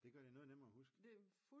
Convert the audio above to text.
Det gør det noget nemmere at huske